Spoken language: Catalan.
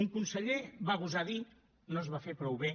un conseller va gosar dir no es va fer prou bé